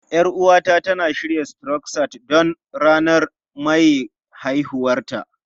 Yar uwata tana shirya Croissant don ranar maye haihuwarta.